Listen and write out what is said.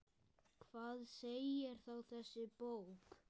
Hvað segir þá þessi bók?